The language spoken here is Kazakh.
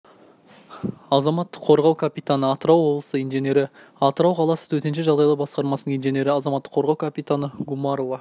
азаматтық қорғау капитаны атырау қаласы инженері атырау қаласы төтенше жағдайлар басқармасының инженері азаматтық қорғау капитаны гумарова